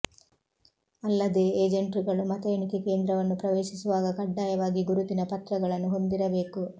ಅಲ್ಲದೇ ಎಜೆಂಟ್ರುಗಳು ಮತ ಎಣಿಕೆ ಕೇಂದ್ರವನ್ನು ಪ್ರವೇಶಿಸುವಾಗ ಕಡ್ಡಾಯವಾಗಿ ಗುರುತಿನ ಪತ್ರಗಳನ್ನು ಹೊಂದಿರಬೇಕು